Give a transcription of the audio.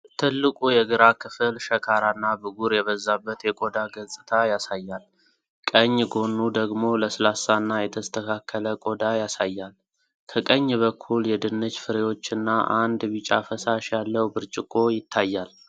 ትልቁ የግራ ክፍል ሸካራና ብጉር የበዛበት የቆዳ ገጽታ ያሳያል፣ ቀኝ ጎኑ ደግሞ ለስላሳና የተስተካከለ ቆዳ ያሳያል። ከቀኝ በኩል የድንች ፍሬዎችና አንድ ቢጫ ፈሳሽ ያለው ብርጭቆ ይታያል።